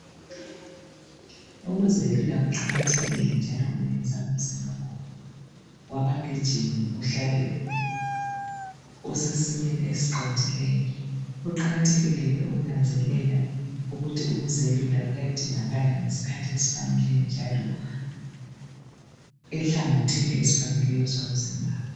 Ukuzelula kuqakathekile njalo kwenza umzimba wabagijimi uhlale usesimeni esiqondileyo. Kuqakathekile ke ukunanzelela ukuthi ukuzelula kuyadingakala ngesikhathi esifaneleyo njalo enhlangothini ezifaneleyo ezomzimba.